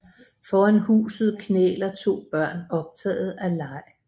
Foran huset knæler to børn optaget af leg